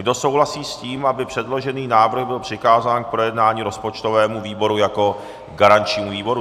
Kdo souhlasí s tím, aby předložený návrh byl přikázán k projednání rozpočtovému výboru jako garančnímu výboru?